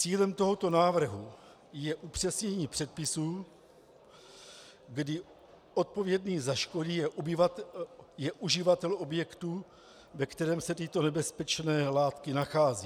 Cílem tohoto návrhu je upřesnění předpisů, kdy odpovědný za škody je uživatel objektu, ve kterém se tyto nebezpečné látky nacházejí.